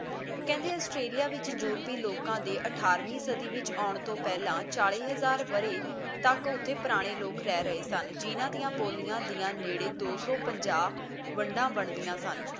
ਕਹਿੰਦੇ ਆਸਟ੍ਰੇਲੀਆ ਵਿੱਚ ਯੂਰਪੀ ਲੋਕਾਂ ਦੇ ਅਠਾਰਵੀਂ ਸਦੀ ਵਿੱਚ ਆਉਣ ਤੋਂ ਪਹਿਲਾਂ ਚਾਲੀ ਹਜ਼ਾਰ ਵਰ੍ਹੇ ਤੱਕ ਉੱਥੇ ਪੁਰਾਣੇ ਲੋਕ ਰਹਿ ਰਹੇ ਸਨ ਜਿੰਨਾਂ ਦੀਆਂ ਬੋਲੀਆਂ ਦੀਆਂ ਨੇੜੇ ਦੋ ਸੌ ਪੰਜਾਹ ਵੰਡਾਂ ਬਣਦੀਆਂ ਸਨ